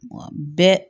Wa bɛɛ